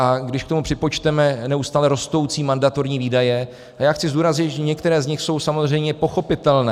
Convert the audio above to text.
A když k tomu připočteme neustále rostoucí mandatorní výdaje - a já chci zdůraznit, že některé z nich jsou samozřejmě pochopitelné.